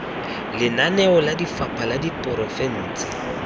lenaneo la lefapha la diporofense